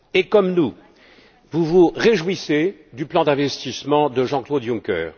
Et, comme nous, vous vous réjouissez du plan d'investissement de Jean Claude Juncker.